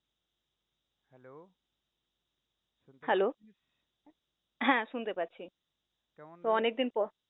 Hello হ্যাঁ শুনতে পাচ্ছি, তো অনেক দিন পর